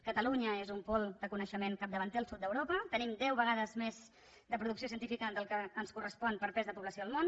catalunya és un pol de coneixement capdavanter al sud d’europa tenim deu vegades més de producció científica del que ens correspon per pes de població al món